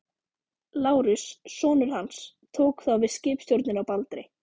Lárus, sonur hans, tók þá við skipstjórninni á Baldri.